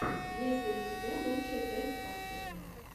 есть ли у тебя лучшая часть астрони